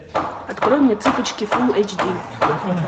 открой мне цыпочки фул эйч ди